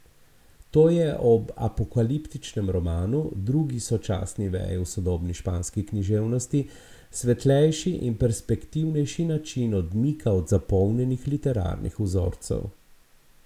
To je ob apokaliptičnem romanu, drugi sočasni veji v sodobni španski književnosti, svetlejši in perspektivnejši način odmika od zapolnjenih literarnih vzorcev.